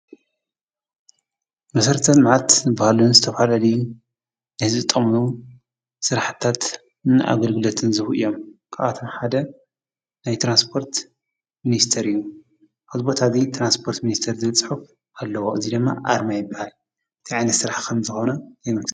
መሰረተ-ልምዓት ዝበሃሉ ዝተፈላላዩ ንህዝቢ ዝጥቕሙ ስራሕቲታት ንኣገልግሎትን ዝህቡ እዮም። ካብኣቶም ሓደ ናይ ትራንስፖርት ሚኒስተር እዩ። ኣብዚ ቦታ እዙይ ትራንስፖርት ሚኒስተር ዝብል ፅሑፍ ኣለዎ እዚ ድማ ኣርማ ይበሃል፣ እታይ ዓይነት ስራሕ ከም ዝኮነ ይገልፅ።